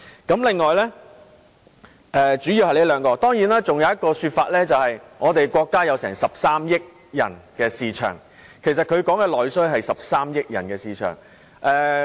這兩項是主要原因，而當然還有另一種說法，就是我們國家擁有13億人的市場，所以內需代表的是13億人的市場。